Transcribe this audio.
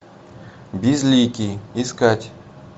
безликий искать